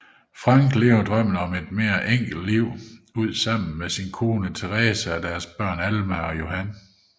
Frank lever drømmen om et mere enkelt liv ud sammen med sin kone Theresa og deres børn Alma og Johan